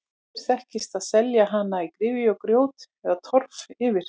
Áður þekktist að setja hana í gryfju og grjót eða torf yfir.